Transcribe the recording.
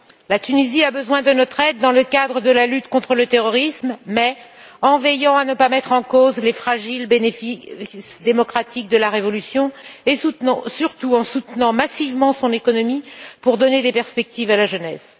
La Tunisie a besoin de notre aide dans le cadre de la lutte contre le terrorisme, mais en veillant à ne pas mettre en cause les fragiles bénéfices démocratiques de la révolution et surtout en soutenant massivement son économie pour donner des perspectives à la jeunesse.